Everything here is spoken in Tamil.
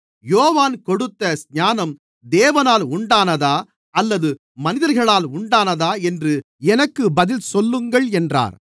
யோவான் கொடுத்த ஸ்நானம் தேவனால் உண்டானதா அல்லது மனிதர்களால் உண்டானாதா என்று எனக்கு பதில் சொல்லுங்கள் என்றார்